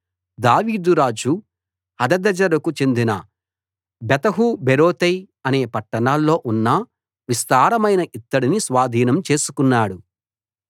దావీదు రాజు హదదెజెరుకు చెందిన బెతహు బేరోతై అనే పట్టణాల్లో ఉన్న విస్తారమైన ఇత్తడిని స్వాధీనం చేసుకున్నాడు